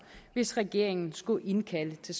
hvis regeringen skulle indkalde til